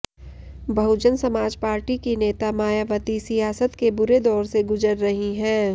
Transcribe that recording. बहुजन समाज पार्टी की नेता मायावती सियासत के बुरे दौर से गुजर रही हैं